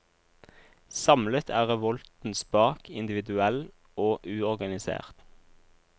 Samlet er revolten spak, individuell og uorganisert.